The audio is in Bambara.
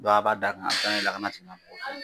Dɔnku a b'a d'a kan a bi taa n'a ye lakana tigilamɔgɔw fe yen